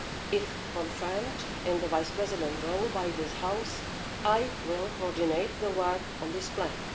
If confirmed in the vice-president role by this House, I will coordinate the work on this plan.